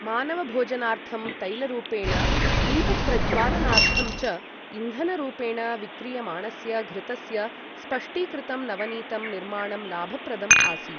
मानवभोजनार्थं तैलरूपेण, दीपप्रज्वालनार्थं च इन्धनरूपेण विक्रीयमाणस्य घृतस्य स्पष्टीकृतं नवनीतं निर्माणं लाभप्रदम् आसीत्।